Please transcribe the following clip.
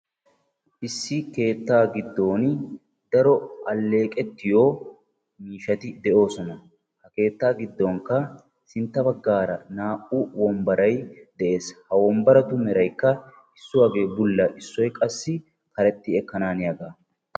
Issi keetta giddon daro alleeqetiyo miishshati de'oosona. Ha keettaa giddonkka qa sintta baggaara naa"u wombbaray de'ees. Ha wombbaratu meraykka issuwagee bulla, issoy qassi karexxi ekkananiyaaga.